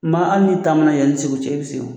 Maa hali n'i taamana yan ni Segu cɛ i bɛ se o.